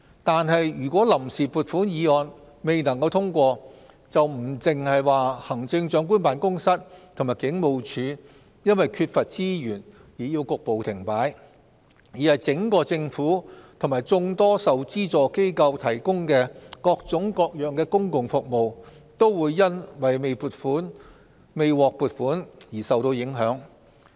但是，如果臨時撥款議案未能通過，不單是行政長官辦公室及警務處因為缺乏資源而要局部停擺，而是整個政府及眾多受資助機構提供的各種各樣公共服務，都會因為未獲撥款而受到影響。